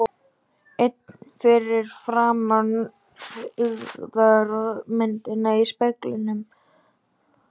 Einn fyrir framan hryggðarmyndina í speglinum.